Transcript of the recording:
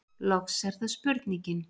Loks er það spurningin: